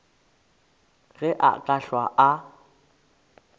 ge a ka hlwa a